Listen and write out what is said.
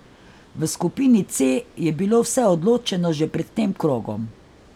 V skupini C je bilo vse odločeno že pred tem krogom.